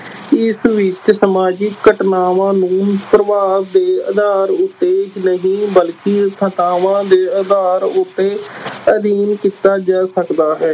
ਇਸ ਵਿਚ ਸਮਾਜਿਕ ਘਟਨਾਵਾਂ ਨੂੰ ਪ੍ਰਭਾਵ ਦੇ ਆਧਾਰ ਉੱਤੇ ਨਹੀਂ ਬਲਕਿ ਤੱਥਾਂ ਦੇ ਆਧਾਰ ਉੱਤੇ ਅਧਿਐਨ ਕੀਤਾ ਜਾ ਸਕਦਾ ਹੈ।